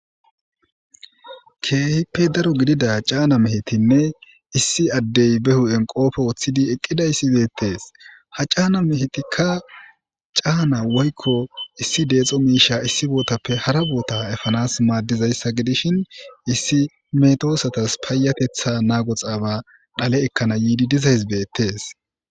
keehippe daro gidida caana mehetinne issi addey be hu7en qoope woththidi eqqida issi deettees ha caana mehetikka caana woykko issi deexo miisha issi bootappe hara boota efanas maaddizayssa gidishin issi metoosatas paayatetha naago xaaba dhale ekkana yiidi dizahizbettes